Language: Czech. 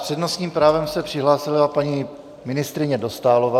S přednostním právem se přihlásila paní ministryně Dostálová.